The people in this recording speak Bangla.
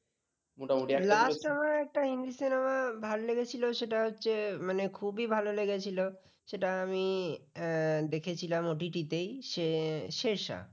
আমার একটা হিন্দি cinema ভালো লাগলো সেটা হচ্ছে মানে খুবই ভালো লেগেছিল সেটা আমি দেখেছিলাম OTT তে শে শেরশা